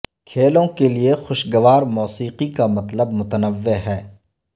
کھیلوں کے لئے خوشگوار موسیقی کا مطلب متنوع ہے